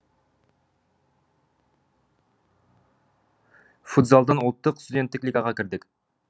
футзалдан ұлттық студенттік лигаға кірдік